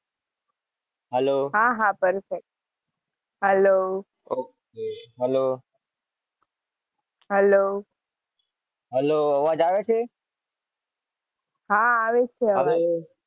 હા હા sorry sir